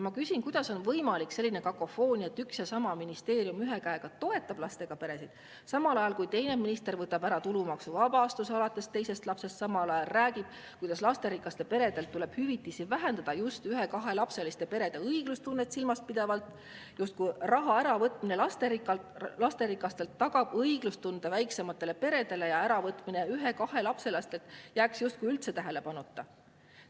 Ma küsin, kuidas on võimalik selline kakofoonia, et üks ja sama ministeerium ühe käega toetab lastega peresid, samal ajal kui teine minister võtab ära tulumaksuvabastuse alates teisest lapsest, samal ajal räägib, kuidas lasterikaste perede hüvitisi tuleb vähendada just ühe-kahelapseliste perede õiglustunnet silmas pidavalt, justkui raha äravõtmine lasterikastelt tagaks õiglustunde väiksematele peredele ja äravõtmine ühe-kahelapselistelt jääks justkui üldse tähelepanuta.